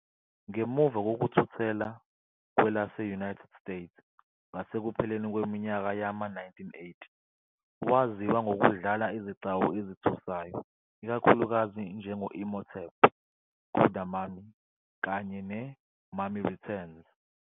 Ngemuva kokuthuthela kwe lase-United States ngasekupheleni kweminyaka yama-1980, waziwa ngokudlala izigcawu ezithusayo, ikakhulukazi njengo- Imhotep ku "-The Mummy" kanye "ne-Mummy Returns".